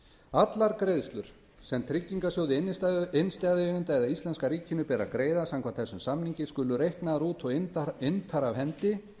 allar greiðslur sem tryggingarsjóði innstæðueigenda eða íslenska ríkinu ber að greiða samkvæmt þessum samningi skulu reiknaðar út og inntar af hendi